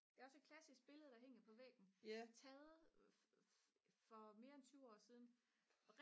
det er også et klassisk billede der hænger på væggen taget for mere end 20 år siden